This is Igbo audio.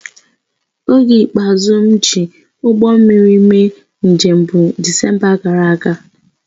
Oge ikpeazụ m ji ụgbọ mmiri mee njem bụ Disemba gara aga